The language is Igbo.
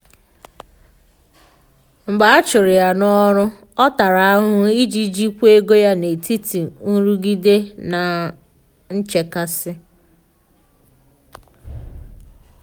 mgbe a churu ya na oru ọ tara ahụhụ iji jikwaa ego ya n'etiti nrụgide na nchekasị.